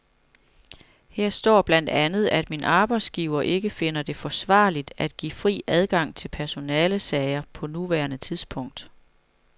Her står blandt andet, at min arbejdsgiver ikke finder det forsvarligt at give fri adgang til personalesager på nuværende tidspunkt.